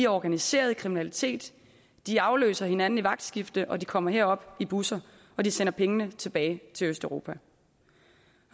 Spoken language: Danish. organiseret i kriminalitet de afløser hinanden i vagtskifter de kommer herop i busser og de sender pengene tilbage til østeuropa